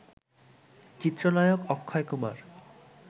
চিত্রনায়ক অক্ষয় কুমার